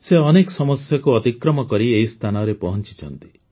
ସେ ଅନେକ ସମସ୍ୟାକୁ ଅତିକ୍ରମ କରି ଏହି ସ୍ଥାନରେ ପହଞ୍ଚିଛନ୍ତି